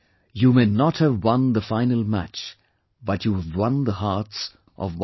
You may not have won the final match but you have won the hearts of 1